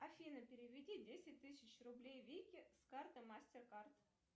афина переведи десять тысяч рублей вике с карты мастер кард